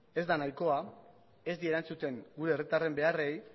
ez da nahikoa ez die erantzuten gure herritarren beharrei